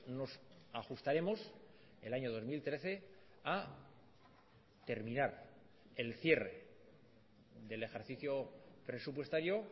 nos ajustaremos el año dos mil trece a terminar el cierre del ejercicio presupuestario